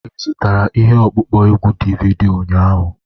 Ị zụtara ihe ọkpụkpọ egwu DVD ụnyaahụ?